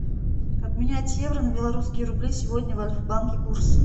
обменять евро на белорусские рубли сегодня в альфа банке курс